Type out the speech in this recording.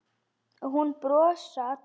Og nú brosa allir.